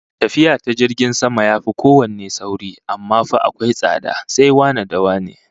Tafiya ta jirgin sama yafi kowanne sauri, amma fa akwai tsada, sai wane da wane